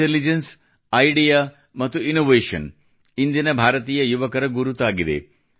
intelligence idea ಮತ್ತು innovation ಇಂದಿನ ಭಾರತೀಯ ಯುವಕರ ಗುರುತಾಗಿದೆ